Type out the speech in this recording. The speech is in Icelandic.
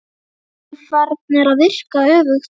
Jafnvel farnar að virka öfugt.